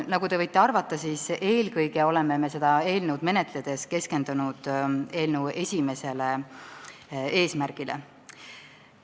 Nagu te võite arvata, siis eelkõige oleme seda eelnõu menetledes keskendunud esimesele eesmärgile.